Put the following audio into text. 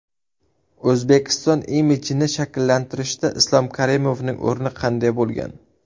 O‘zbekiston imijini shakllantirishda Islom Karimovning o‘rni qanday bo‘lgan?